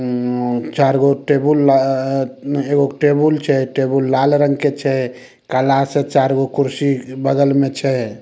उम्म चार गो टेबुल आ एगो टेबुल छे टेबुल लाल रंग के छे काला से चार गो कुर्सी बगल में छे।